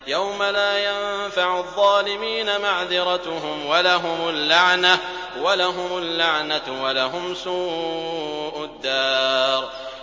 يَوْمَ لَا يَنفَعُ الظَّالِمِينَ مَعْذِرَتُهُمْ ۖ وَلَهُمُ اللَّعْنَةُ وَلَهُمْ سُوءُ الدَّارِ